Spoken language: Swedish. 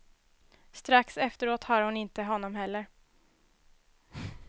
Strax efteråt har hon inte honom heller.